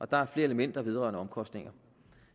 der er flere elementer vedrørende omkostninger